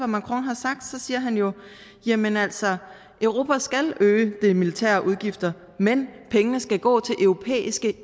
macron har sagt så siger han jo jamen altså europa skal øge de militære udgifter men pengene skal gå til europæiske